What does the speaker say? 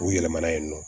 U yɛlɛmana yen nɔ